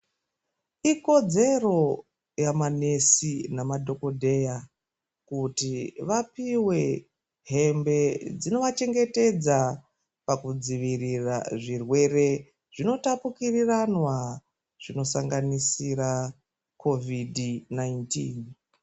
Ikodzero yamanesi nemadhogodheya kuti vapiwe hembe dzinovachengetedza pakudzivirira zvirwere zvinotapukiriranwa zvinosanganisira kovhidhi nainitini.